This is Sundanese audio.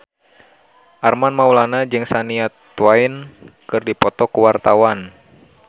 Armand Maulana jeung Shania Twain keur dipoto ku wartawan